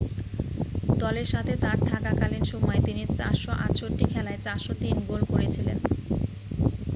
দলের সাথে তাঁর থাকাকালীন সময়ে তিনি 468 খেলায় 403 গোল করেছিলেন